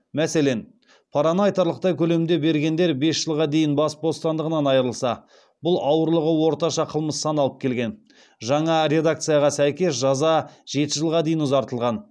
мәселен параны айтарлықтай көлемде бергендер бес жылға дейін бас бостандығынан айырылса жаңа редакцияға сәйкес жаза жеті жылға дейін ұзартылған